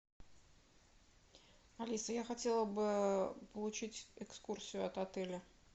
алиса я хотела бы получить экскурсию от отеля